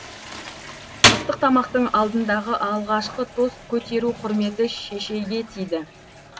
ыстық тамақтың алдындағы алғашқы тост көтеру құрметі шешейге тиді